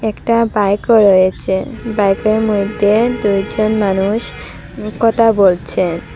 একটা বাইকও রয়েছে বাইকের মইদ্যে দুইজন মানুষ কতা বলছে।